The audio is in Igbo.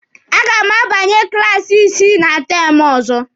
A ga m abanye klaasi isii na teemụ ọzọ.